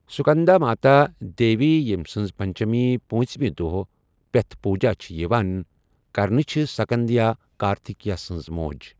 سکنداماتا، دیوی یٔم سنٛز پنچمی پونٚژمہِ دۄہہ پٮ۪تھ پوجا چھِ یِوان کرنہٕ چھِ سکند یا کارتیکیہ سنٛز موج